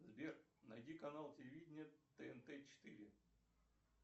сбер найди канал телевидения тнт четыре